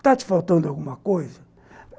Está te faltando alguma coisa?